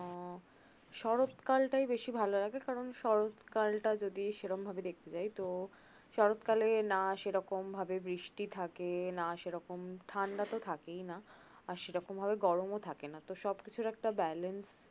শরতকাল টা বেশি ভাললাগে কারন শরতকালটা যদি সেরম ভাবে দেকতে চাই তো শরৎ কালে না সেরকম ভাবে বৃষ্টি থাকে না সেরকম ঠাণ্ডা তো থাকেই না আর সেরকম ভাবে গরম ও থাকে না তো সবকিছুর একটা balance